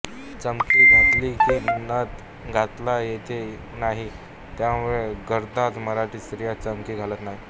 चमकी घातली की नथ घालता येत नाही त्यामुळे घरंदाज मराठी स्त्रिया चमकी घालत नाहीत